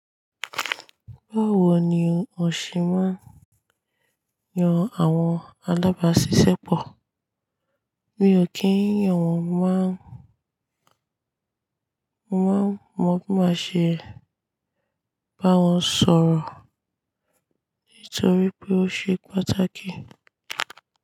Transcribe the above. Báwo ni òṣe máa ń yan àwọn alábàáṣiṣẹ́pọ̀? Mi ò kí ń yàn wọ́n, mo maa n màá mọ̀ n bí màá ṣe bá wọn sọ̀rọ̀ nítorí pé ó ṣe pàtàkì.